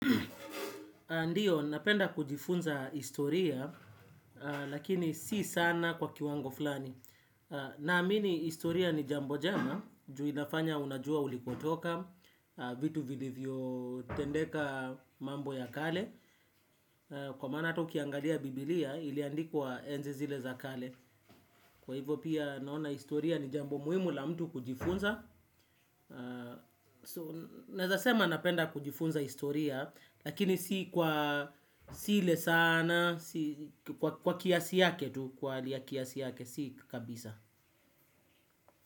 Ndiyo, napenda kujifunza historia, lakini si sana kwa kiwango fulani. Naamini, istoria ni jambo jema, ju inafanya unajua ulikotoka, vitu vilivyotendeka mambo ya kale. Kwa maana hata ukiangalia biblia, iliandikwa enzi zile za kale. Kwa hivyo pia, naona istoria ni jambo muhimu la mtu kujifunza. So naeza sema napenda kujifunza historia. Lakini si kwa si ile sana kwa kiasi yake tu kwa hali ya kiasi yake si kabisa.